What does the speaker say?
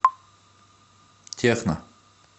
техно